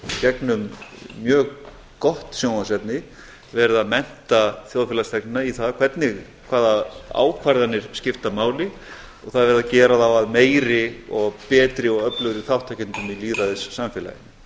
gegnum mjög gott sjónvarpsefni verið að mennta þjóðfélagsþegnana í það hvaða ákvarðanir skipta máli og það er verið að gera þá að meiri og betri og öflugri þátttakendum